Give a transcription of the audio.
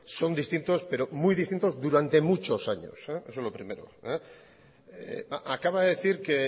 son distintos pero muy distintos durante muchos años eso lo primero acaba de decir que